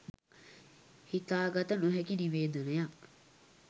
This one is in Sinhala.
හිතා ගත නොහැකි නිවේදනයක්